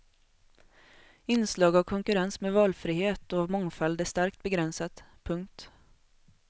Inslag av konkurrens med valfrihet och mångfald är starkt begränsat. punkt